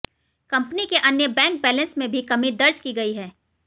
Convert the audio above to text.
company के अन्य bank balance में भी कमी दर्ज की गई है